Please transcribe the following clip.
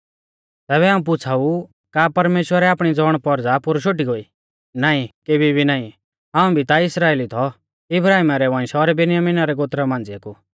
तैबै हाऊं पुछ़ाऊ का परमेश्‍वरै आपणी ज़ौणपौरज़ा पोरु शोटी गोइ नाईं केबी भी नाईं हाऊं भी ता इस्राइली थौ इब्राहिमा रै वंश और बिन्यामिना रै गोत्रा मांझ़िऐ कु